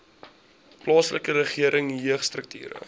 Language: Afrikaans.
plaaslike regering jeugstrukture